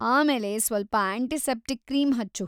ಆಮೇಲೆ ಸ್ವಲ್ಪ antiseptic cream ಹಚ್ಚು.